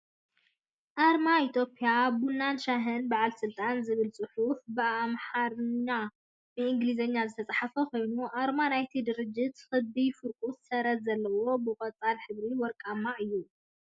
ኣርማ ኢትዮጵያ ቡናን ሻሂን በዓል ስልጣን ዝብል ፅሑፍ ብኣማርሓና ብኢንግሊዝ ዝተፃሓፈ ኮይኑ ኣርማ ናይ ቲ ድርጅት ክቢ ፍርቁ ሰረዝ ዘለዎ ብቆፃል ሕብሪን ወርቃማን እዩ።